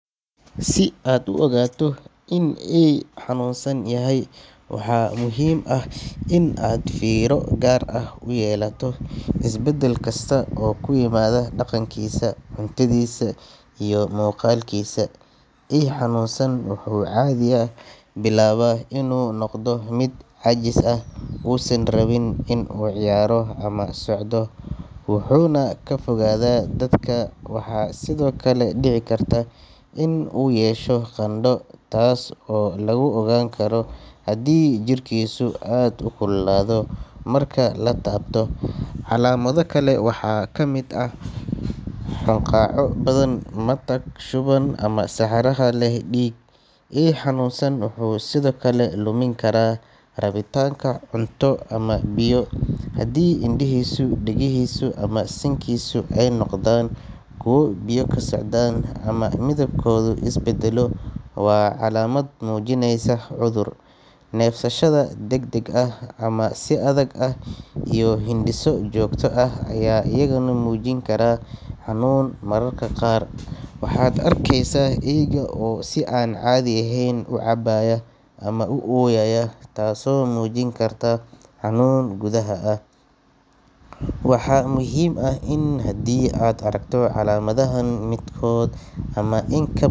Si aad u ogaato in eey xanuunsan yahay, waxaa muhiim ah in aad fiiro gaar ah u yeelato isbeddel kasta oo ku yimaada dhaqankiisa, cuntadiisa, iyo muuqaalkiisa. Eey xanuunsan wuxuu caadiyan bilaabaa inuu noqdo mid caajis ah, uusan rabin inuu ciyaaro ama socdo, wuxuuna ka fogaadaa dadka. Waxaa sidoo kale dhici karta inuu yeesho qandho, taas oo lagu ogaan karo haddii jirkiisu aad u kululaado marka la taabto. Calaamado kale waxaa ka mid ah hunqaaco badan, matag, shuban, ama saxaro leh dhiig. Eey xanuunsan wuxuu sidoo kale lumin karaa rabitaanka cunto ama biyo. Haddii indhihiisa, dhegihiisa ama sankiisa ay noqdaan kuwo biyo ka socdaan ama midabkoodu is bedelo, waa calaamad muujinaysa cudur. Neefsashada degdeg ah ama si adag ah, iyo hindhiso joogto ah ayaa iyaguna muujin kara xanuun. Mararka qaar waxaad arkeysaa eeyga oo si aan caadi ahayn u cabaaya ama u ooyaya, taasoo muujin karta xanuun gudaha ah. Waxaa muhiim ah in haddii aad aragto calaamadahan midkood ama in ka.